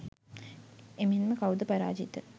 එමෙන්ම කවුද පාරාජිත